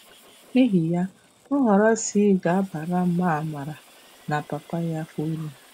N'ihi ya, Nhọrọ C ga-abara ma Amara na papa ya uru.